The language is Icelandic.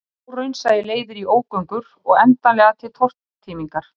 Óraunsæi leiðir í ógöngur og endanlega til tortímingar